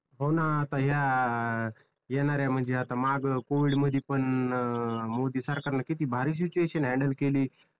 हो ना आता ह्या येणाऱ्या म्हणजे आता माग कोविड मध्ये पण अं मोदी सरकार न किती भारी सिटूएशन हॅन्डल केली.